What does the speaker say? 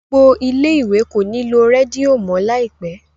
gbó gbò ilé ìwé kò ní nilo Rédíò mọ láìpé.